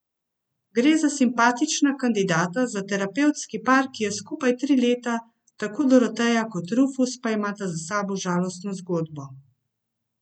Gre za simpatična kandidata za terapevtski par, ki je skupaj tri leta, tako Doroteja kot Rufus pa imata za sabo žalostno zgodbo.